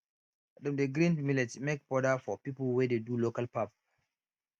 dem dey grind millet make powder for people wey dey do local pap